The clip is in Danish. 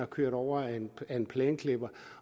kørt over af en plæneklipper